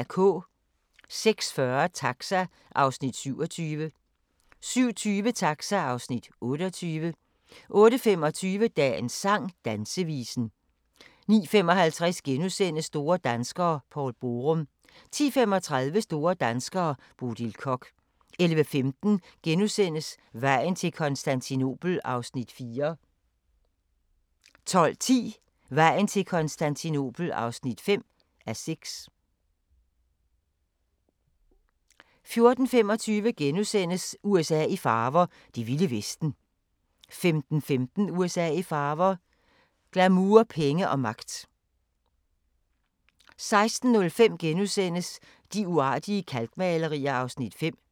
06:40: Taxa (Afs. 27) 07:20: Taxa (Afs. 28) 08:25: Dagens sang: Dansevisen 09:55: Store danskere - Poul Borum * 10:35: Store danskere - Bodil Koch 11:15: Vejen til Konstantinopel (4:6)* 12:10: Vejen til Konstantinopel (5:6) 14:25: USA i farver – det vilde vesten * 15:15: USA i farver – glamour, penge og magt 16:05: De uartige kalkmalerier (Afs. 5)*